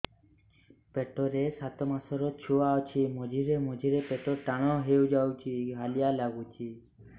ପେଟ ରେ ସାତମାସର ଛୁଆ ଅଛି ମଝିରେ ମଝିରେ ପେଟ ଟାଣ ହେଇଯାଉଚି ହାଲିଆ ଲାଗୁଚି